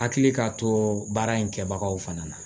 Hakili ka to baara in kɛbagaw fana na